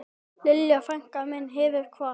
Lilja frænka mín hefur kvatt.